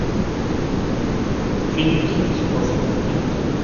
фильм взрыв из прошлого найти